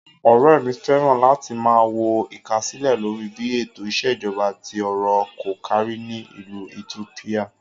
Ọ̀rẹ́ mi fẹ́ràn láti máa wo ìkásílẹ̀ lórí bí ètò ìṣèjọba tí ọrọ̀ kò kárí ni ìlú itiópíà.